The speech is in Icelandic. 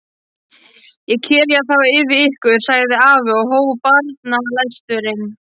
Ég kyrja þá yfir ykkur, sagði afi og hóf bænalesturinn.